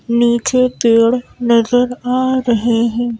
नीचे पेड़ नजर आ रहे हैं ।